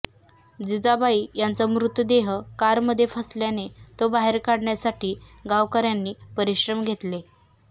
जिजाबाई यांचा मृतदेह कारमध्ये फसल्याने तो बाहेर काढण्यासाठी गावकऱ्यांनी परिश्रम घेतले